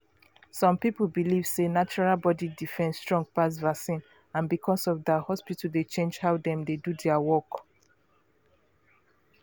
some people believe sey natural body defence strong pass vaccine and because of that hospital dey change how dem dey do their work.